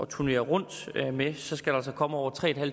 turnere rundt med så skal der altså komme over tre